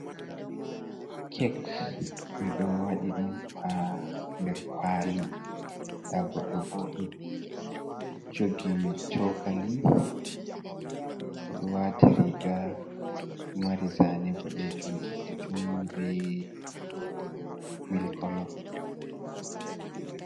Cake ɓe ɗo waɗi ɗum ha nder kwali, nda goɗɗo ɓo ɗo jogi chokali, o ɗo wati riga ɗo mari zane boɗejum, boɗejum, be milk kolo.